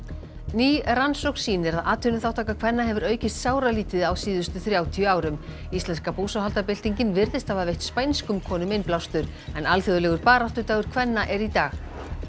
ný rannsókn sýnir að atvinnuþátttaka kvenna hefur aukist sáralítið á síðustu þrjátíu árum íslenska búsáhaldabyltingin virðist hafa veitt spænskum konum innblástur en alþjóðlegur baráttudagur kvenna er í dag